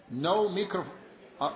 Panie przewodniczący!